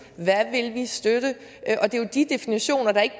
hvad vil vi støtte og det er jo de definitioner der ikke